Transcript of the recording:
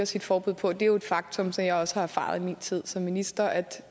sit forbud på det er jo et faktum som jeg også har erfaret i min tid som minister at